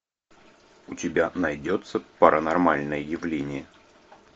у тебя найдется паранормальное явление